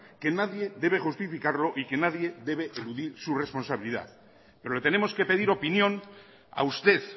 que nadie debe justificarlo y que debe eludir su responsabilidad pero le tenemos que pedir opinión a usted